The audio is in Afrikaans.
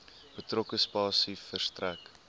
betrokke spasie verstrek